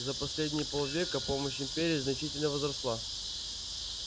за последние полвека помощь империи значительно возросла